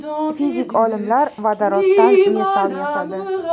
Fizik olimlar vodoroddan metall yasadi.